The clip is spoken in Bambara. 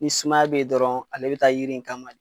Ni sumaya be yen dɔrɔn, ale be taa yiri in kama de.